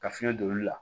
Ka fiɲɛ don olu la